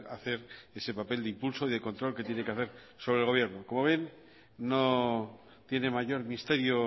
hacer ese papel de impulso y de control que tiene que hacer solo el gobierno como ven no tiene mayor misterio